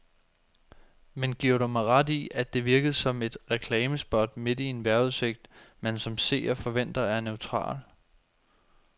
Men giver du mig ret i, at det virkede som et reklamespot midt i en vejrudsigt, man som seer forventer er neutral.